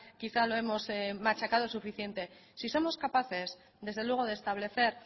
quizá lo hemos machacado suficiente si somos capaces desde luego de establecer